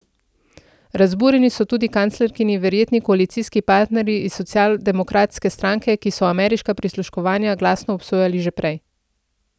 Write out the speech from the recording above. Razburjeni so tudi kanclerkini verjetni koalicijski partnerji iz socialdemokratske stranke, ki so ameriška prisluškovanja glasno obsojali že prej.